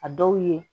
A dɔw ye